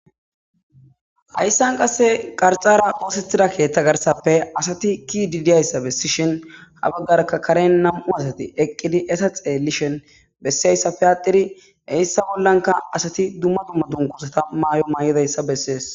Hayssan qasse qarxara oosethida keeththa garsappe asati ki didiyayssa bessishin habaggarka karen nam'u asati eqqidi esa xeelishen bessiayssape aatiri heyssa bollanka asati dumma dumma dunkusata maayo maay'edayssa bessees.